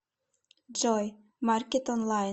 джой маркет онлайн